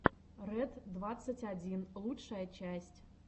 ред двадцать один лучшая часть